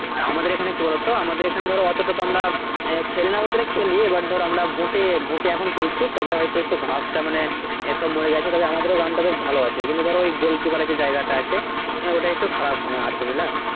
আমাদের এখানে কি বলতো আমাদের এখানে ধরো ওত্তো টা তো আমরা খেলিনা বলতে গেলে খেলি এবার ধরো আমরা boot boot এ আমরা খেলছি তবে হয়তো একটু ঘাসটা হয়তো মোরে গেছে তো আমাদের ground টা কিন্তু ধরো goal keeper যে জায়গা টা আছে ওটা একটু খারাপ আছে বুঝলা